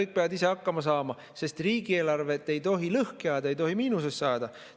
Kõik peavad ise hakkama saama, sest riigieelarvet ei tohi lõhki ajada, ei tohi miinusesse minna.